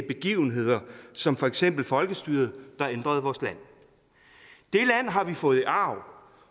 begivenheder som for eksempel folkestyret der ændrede vores land det land har vi fået i arv